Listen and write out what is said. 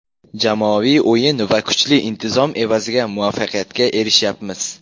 Jamoaviy o‘yin va kuchli intizom evaziga muvaffaqiyatga erishyapmiz.